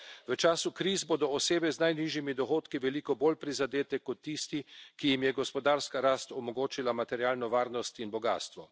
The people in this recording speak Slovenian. V času kriz bodo osebe z najnižjimi dohodki veliko bolj prizadete kot tisti, ki jim je gospodarska rast omogočila materialno varnost in bogastvo.